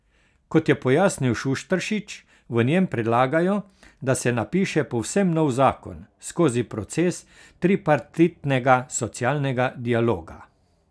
Kot je pojasnil Šušteršič, v njem predlagajo, da se napiše povsem nov zakon, skozi proces tripartitnega socialnega dialoga.